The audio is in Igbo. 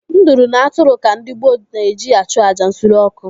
Nduru na atụrụ ka ndị gboo na-eji achụ àjà nsure ọkụ.